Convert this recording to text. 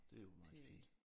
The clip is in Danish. Det er jo meget fint